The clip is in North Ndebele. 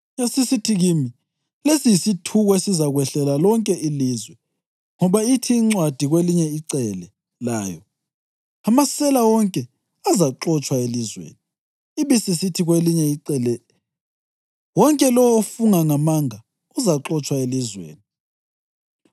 Yasisithi kimi, “Lesi yisithuko esizakwehlela lonke ilizwe; ngoba ithi incwadi kwelinye icele layo, amasela wonke azaxotshwa elizweni, ibisisithi ngakwelinye icele, wonke lowo ofunga ngamanga uzaxotshwa elizweni.